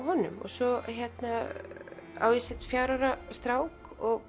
honum og svo á ég fjögurra ára strák og